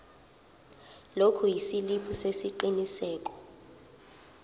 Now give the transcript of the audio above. lokhu isiliphi sesiqinisekiso